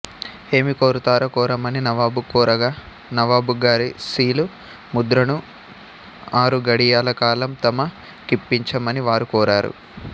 ఏమి కోరుతారో కోరమని నవాబు కోరగా నవాబుగారి సీలు ముద్ర ను ఆరుఘడియల కాలం తమ కిప్పించమని వారు కోరారు